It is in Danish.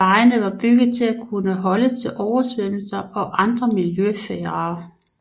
Vejene var bygget til kunne holde til oversvømmelser og andre miljøfarer